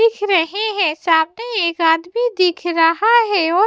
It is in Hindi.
दिख रहे हैं साथ में एक आदमी दिख रहा है और--